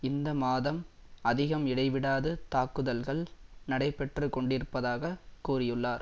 இந்த மாதம் அதிகம் இடைவிடாது தாக்குதல்கள் நடைபெற்று கொண்டிருப்பதாக கூறியுள்ளார்